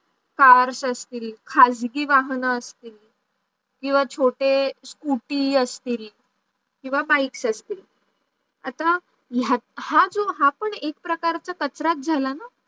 cars असतील, खाजगी वाहन असतील, किव्वा छोटे सकूटी असतील किव्वा bikes असतील. आता हा जो हा पण एक प्रकारचा कचराच झाला ना?